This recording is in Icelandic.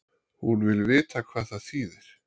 hún vill vita hvað það þýðir